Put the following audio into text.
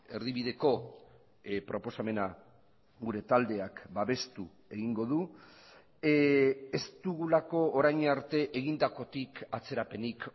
erdibideko proposamena gure taldeak babestu egingo du ez dugulako orain arte egindakotik atzerapenik